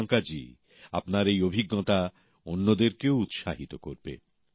প্রিয়াঙ্কাজী আপনার এই অভিজ্ঞতা অন্যদেরকেও উৎসাহিত করবে